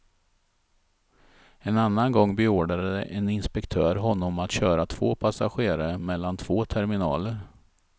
En annan gång berordrade en inspektör honom att köra två passagerare mellan två terminaler.